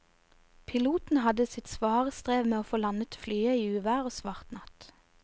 Piloten hadde sitt svare strev med å få landet flyet i uvær og svart natt.